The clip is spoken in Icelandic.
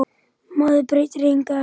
Maður breytir engu eftir á.